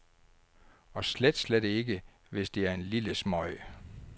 Og slet, slet ikke, hvis det er en lille smøg.